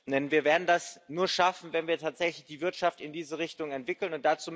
Denn wir werden das nur schaffen, wenn wir tatsächlich die Wirtschaft in diese Richtung entwickeln.